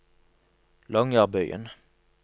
Longyearbyen